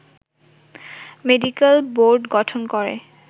medical board গঠন করে